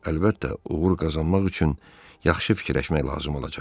Əlbəttə, uğur qazanmaq üçün yaxşı fikirləşmək lazım olacaq.